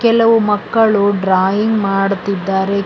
ಕೆಲವು ಮಕ್ಕಳು ಡ್ರಾಯಿಂಗ್ ಮಾಡುತ್ತಿದ್ದಾರೆ ಕೆ--